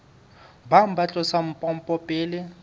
bang ba tlosa pompo pele